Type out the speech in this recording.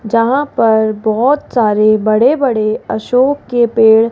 जहां पर बहोत सारे बड़े बड़े अशोक के पेड़--